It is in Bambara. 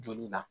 Joli la